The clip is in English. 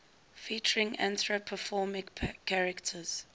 featuring anthropomorphic characters